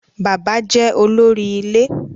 Bàbá jẹ́ olóri ilé.